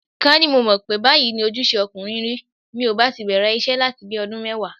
Ká ní mo mọ̀ pé báyìí ni ojúṣe ọkùnrin rí, mi ò bá ti bẹ̀rẹ̀ iṣẹ́ láti bi ọdún mẹ́wàá.